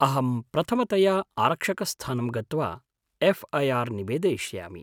अहं प्रथमतया आरक्षकस्थानकं गत्वा एफ्.ऐ.आर्. निवेदयिष्यामि।